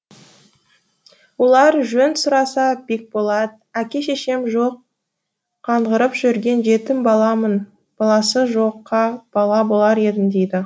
олар жөн сұраса бекболат әке шешем жоқ қаңғырып жүрген жетім баламын баласы жоққа бала болар едім дейді